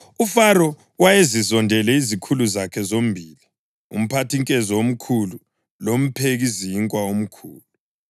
UFaro wayezizondele izikhulu zakhe zombili, umphathinkezo omkhulu lomphekizinkwa omkhulu,